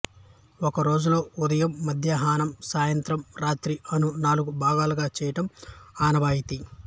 ఒక రోజులో ఉదయం మధ్యాహ్మం సాయంత్రం రాత్రి అను నాలుగు భాగులుగా చేయడం ఆనవాయితీ